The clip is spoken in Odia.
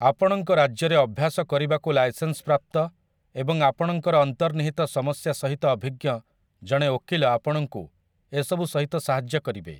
ଆପଣଙ୍କ ରାଜ୍ୟରେ ଅଭ୍ୟାସ କରିବାକୁ ଲାଇସେନ୍ସ ପ୍ରାପ୍ତ ଏବଂ ଆପଣଙ୍କର ଅନ୍ତର୍ନିହିତ ସମସ୍ୟା ସହିତ ଅଭିଜ୍ଞ ଜଣେ ଓକିଲ ଆପଣଙ୍କୁ ଏସବୁସହିତ ସାହାଯ୍ୟ କରିପାରିବେ ।